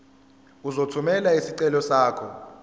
uzothumela isicelo sakho